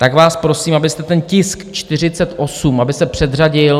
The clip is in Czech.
Tak vás prosím, abyste ten tisk 48, aby se předřadil.